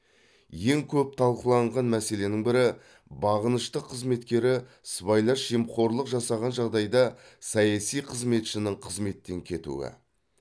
ең көп талқыланған мәселенің бірі бағынышты қызметкері сыбайлас жемқорлық жасаған жағдайда саяси қызметшінің қызметтен кетуі